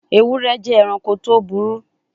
Ewure je eranko to buru